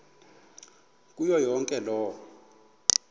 kuyo yonke loo